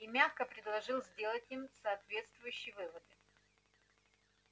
и мягко предложил сделать им соответствующие выводы